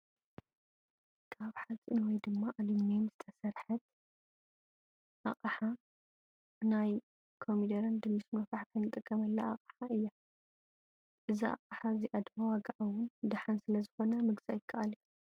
ካብ ሓፂን ወይ ድማ ኣሉሙኔም ዝተሰርሐት ኣቅሓ ናይ ኮሚደረን ድንሽ መፋሕፍሒ እንጥቀመላ ኣቅሓ እያ። እዛ ኣቅሓ እዚኣ ድማ ዋጋኣ እውን ደሃን ስለዝኮነ ምግዛእ ይኸኣል እዩ።